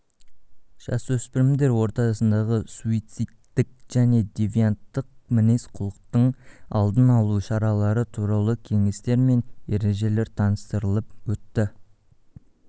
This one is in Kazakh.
жасөспірімдер ортасындағы суицидтік және девианттық мінез-құлықтың алдын алу шаралары туралы кеңестер мен ережелер таныстырылып өтті